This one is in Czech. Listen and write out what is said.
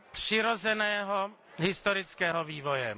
přirozeného historického vývoje.